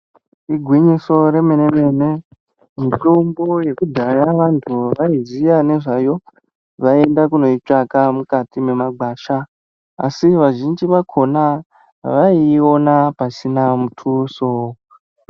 Igwinyiso remenemene mitombo yekudhaya vantu vaiziya ngezvayo vaienda kunoitsvaga mukati memagwasha asi vazhinji vakona vaiona pasina mutuso .